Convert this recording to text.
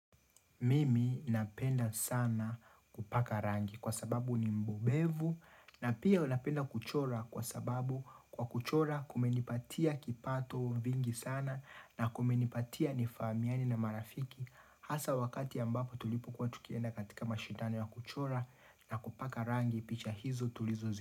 Mimi napenda sana kupaka rangi kwa sababu ni mbubevu na pia napenda kuchora kwa sababu kwa kuchora kumenipatia kipato vingi sana na kumenipatia nifamiani na marafiki Hasa wakati ambapo tulipo kuwa tukienda katika mashindano ya kuchora na kupaka rangi picha hizo tulizo zi.